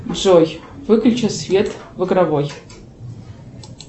джой выключи свет в игровой